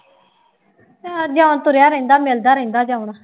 zone ਤੁਰਿਆ ਰਹਿੰਦਾ ਮਿਲਦਾ ਰਹਿੰਦਾ ਜੋਨ